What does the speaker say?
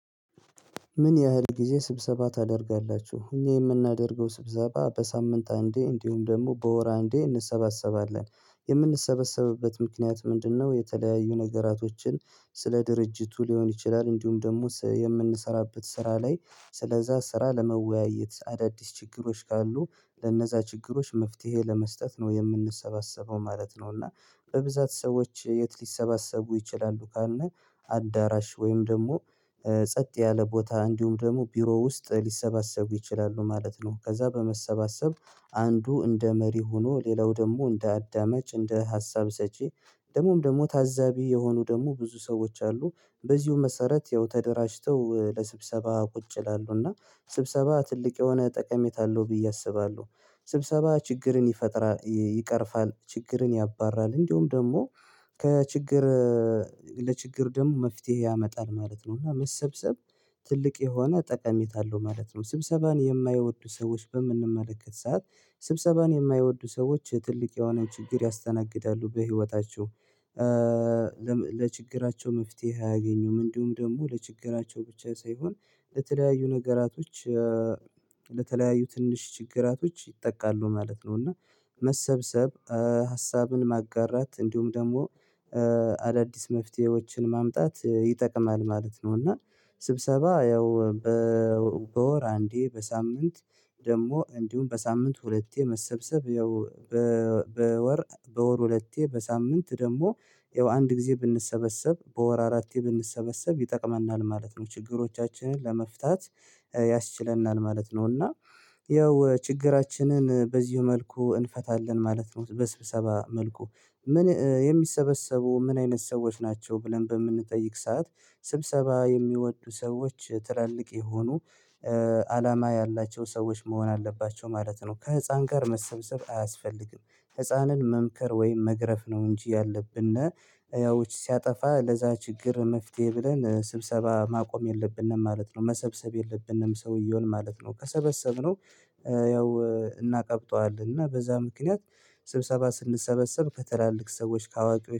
ምን ያህል ጊዜ ስብሰባ ታደርጋላችሁ እኛ የምናደርገው ስብሰባ በሳምንት አንዴ እንዲሁም ደግሞ በወር አንዴ እንሰባሰባለን የምንሰበሰብበት ምክንያት ምንድነው? የተለያዩ ነገራቶችን ስለ ድርጅቱ ሊሆን ይችላል እንዲሁም ደግሞ የምንሰራበት ስራ ላይ ስለዛ ስራ ለመወያየት አዳዲስ ችግሮች ካሉ ለነዛ ችግሮች መፍትሄ ለመስጠት ነው የምንሰባሰበው ማለት ነው። እና በብዛት ሰዎች የት ሊሰባሰቡ ይችላሉ ካልነ አዳራሽ ወይም ደግሞ ጸጥ ያለ ቦታ እንዲሁም ደግሞ ቢሮ ውስጥ ሊሰባሰቡ ይችላሉ ማለት ነው። ከዛ በመሰባሰብ አንዱ እንደ መሪ ሆኖ ሌላው ደግሞ እንደ አዳማጭ እንደ ሀሳብ ሰጪ ደግሞም ደግሞ ታዛቢ የሆኑ ደግሞ ብዙ ሰዎች አሉ። በዚሁ መሰረት ያው ተደራጅተው ለስብሰባ ቁጭ ይላሉ እና ስብሰባ ትልቅ የሆነ ጠቀሜታ አለው ብዬ አስባለሁ። ስብሰባ ችግርን ይፈጥራ ይቀርፋል ችግርን ያባራል እንዲሁም ደግሞ ከችግር ለችግር ደግሞ መፍትሄ ያመጣል ማለት ነው። እና መሰብሰብ ትልቅ የሆነ ጠቀሜታ አለው ማለት ነው። ስብሰባን የማይወዱ ሰዎች በምንመለከት ሰዓት ስብሰባን የማይወዱ ሰዎች ትልቅ የሆነ ችግር ያስተናግዳሉ በህይወታቸው። ለችግራቸው መፍትሄ አያገኙም እንዲሁም ደግሞ ለችግራቸው ብቻ ሳይሆን ለተለያዩ ነገራቶች ለተለያዩ ትንሽ ችግራቶች ይጠቃሉ ማለት ነው። እና መሰብሰብ ሀሳብን ማጋራት እንዲሁም ደግሞ አዳዲስ መፍትሄዎችን ማምጣት ይጠቅማል ማለት ነው። እና ስብሰባ ያው በወር አንዴ በሳምንት ደግሞ እንዲሁም በሳምንት ሁለቴ መሰብሰብ ያው በወር በወር ሁለቴ በሳምንት ደግሞ ያው አንድ ጊዜ ብንሰበሰብ በወር አራቴ ብንሰበሰብ ይጠቅመናል ማለት ነው ችግሮቻችንን ለመፍታት ያስችለናል ማለት ነው። እና ያው ችግራችንን በዚሁ መልኩ እንፈታለን ማለት ነው። በስብሰባ መልኩ ምን የሚሰበሰቡ ምን አይነት ሰዎች ናቸው? ብለን በምንጠይቅ ሰዓት ስብሰባ የሚወዱ ሰዎች ትላልቅ የሆኑ አላማ ያላቸው ሰዎች መሆን አለባቸው ማለት ነው። ከህፃን ጋር መሰብሰብ አያስፈልግም ህፃንን መምከር ወይም መግረፍ ነው እንጂ ያለብንነ ያዎች ሲያጠፋ ለዛ ችግር መፍትሄ ብለን ስብሰባ ማቆም የለብንም ማለት ነው። መሰብሰብ የለብንም ሰውየውን ማለት ነው። ከሰበሰብነው ያው እናቀብጠዋለን እና በዛ ምክንያት ስብሰባ ስንሰበሰብ ከትላልቅ ሰዎች ከአዋቂዎች